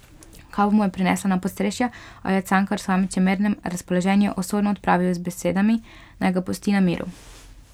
Kavo mu je prinesla na podstrešje, a jo je Cankar, v svojem čemernem razpoloženju, osorno odpravil z besedami, naj ga pusti na miru.